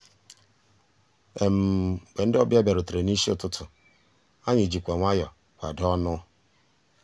mgbé ndị́ ọ̀bịá bìàrùtérè n'ísí ụtụtụ́ ànyị́ jìkwà nwayọ́ọ̀ kwàdóó ọnụ́.